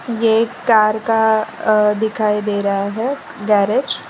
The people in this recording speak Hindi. ये एक कार का दिखाई दे रहा है गैरेज --